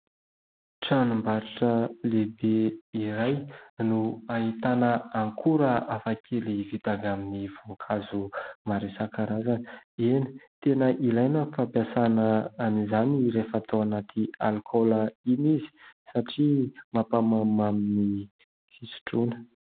Tranombarotra lehibe iray no ahitana akora hafakely vita amin'ny voankazo maro isan-karazany. Eny tena ilaina ny fampiasaina an'izany rehefa atao ao anaty alikaola iny izy satria mampamamimamy ny fisotroana.